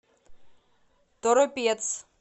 торопец